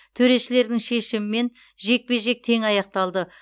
төрешілердің шешімімен жекпе жек тең аяқталды